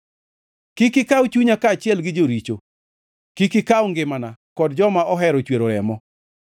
Kik ikaw chunya kaachiel gi joricho, kik ikaw ngimana kod joma ohero chwero remo,